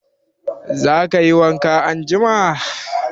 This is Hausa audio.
Za ka yi wanka anjima?